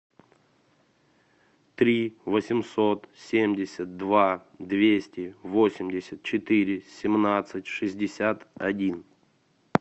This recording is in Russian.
три восемьсот семьдесят два двести восемьдесят четыре семнадцать шестьдесят один